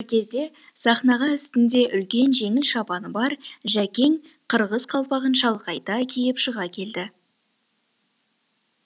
кезде сахнаға үстінде үлкен жеңіл шапаны бар жәкең қырғыз қалпағын шалқайта киіп шыға келді